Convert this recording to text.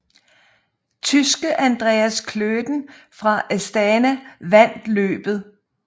Tyske Andreas Klöden fra Astana vandt løbet